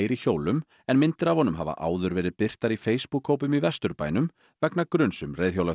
hjólum en myndir af honum hafa áður verið birtar í Facebook hópum í Vesturbænum vegna gruns um